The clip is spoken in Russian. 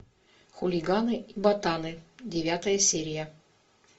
хулиганы и ботаны девятая серия